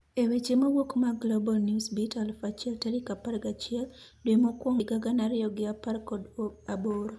e weche mawuok mag Global newsbeat 1000 tarik apar ga'chiel, dwe mokuongo higa gana ariyo gi apar kod aboro